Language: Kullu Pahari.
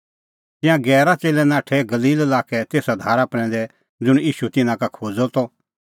तिंयां गैरा च़ेल्लै नाठै गलील लाक्के तेसा धारा प्रैंदै ज़ुंण ईशू तिन्नां का खोज़अ त